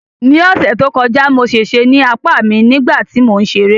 Ní ọ̀sẹ̀ tó kọjá, mo ṣèṣe ní apá mi nígbà tí mò ń ṣeré